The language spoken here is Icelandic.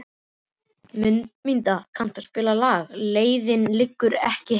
Mundína, kanntu að spila lagið „Leiðin liggur ekki heim“?